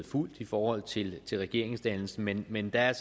fulgt i forhold til regeringsdannelsen men men der er